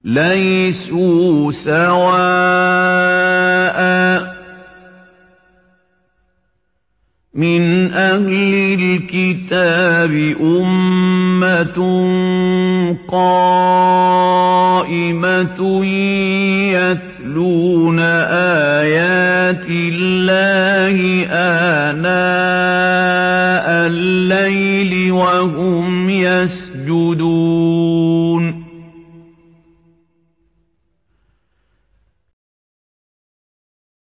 ۞ لَيْسُوا سَوَاءً ۗ مِّنْ أَهْلِ الْكِتَابِ أُمَّةٌ قَائِمَةٌ يَتْلُونَ آيَاتِ اللَّهِ آنَاءَ اللَّيْلِ وَهُمْ يَسْجُدُونَ